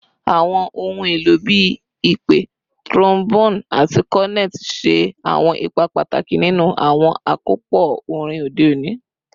Awọn ohun elo bii ipè, trombone, ati cornet ṣe awọn ipa pataki ninu awọn akopọ orin ode oni.